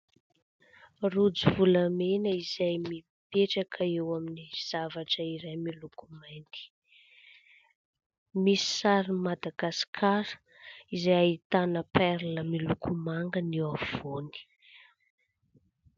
Rojo volamena izay mipetraka eo amin'ny zavatra iray miloko mainty, misy sarin'i Madagasikara izay ahitana perla miloko manga ny eo afovoany.